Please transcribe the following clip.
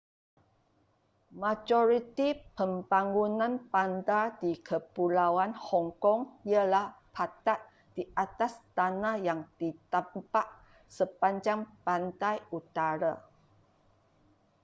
majoriti pembangunan bandar di kepulauan hong kong ialah padat di atas tanah yang ditambak sepanjang pantai utara